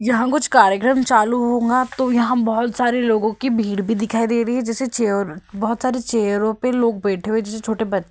यहाँ कुछ कार्यक्रम चालू होगा तो यहाँ बहुत सारे लोगों की भीड़ भी दिखाई दे रही है जैसे चेयर बहुत सारे चेयरो पे लोग बैठे हुए जैसे छोटे बच्च --